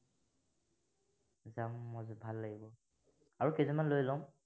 যাম, মনটো ভাল লাগিব, আৰু কেইজনমান লৈ লম।